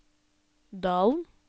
Dalen